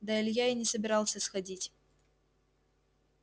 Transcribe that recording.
да илья и не собирался сходить